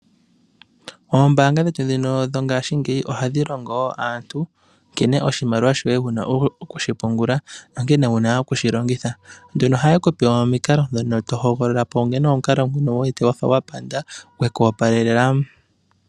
Oombaanga dhetu ndhino dho ngashingeyi ohadhi longo wo aantu nkene wu na oku pungula oshimaliwa shoye nankene wu na okushi longitha. Ohaye ku pe omikalo ndhono to hogolola po unene omukalo ngono wu wete wa panda gwe ku opalela.